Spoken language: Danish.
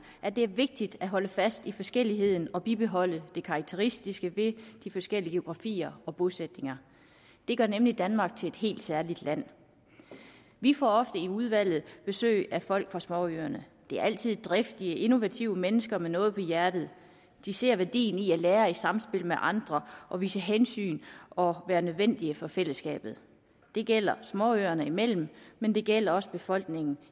at det er vigtigt at holde fast i forskelligheden og bibeholde det karakteristiske ved de forskellige geografier og bosætninger det gør nemlig danmark til et helt særligt land vi får ofte i udvalget besøg af folk fra småøerne det er altid driftige innovative mennesker med noget på hjertet de ser værdien i at lære i samspil med andre og vise hensyn og være nødvendige for fællesskabet det gælder småøerne imellem men det gælder også befolkningen